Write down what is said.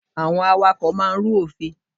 Àwọn awakọ̀ máà ń rú òfin.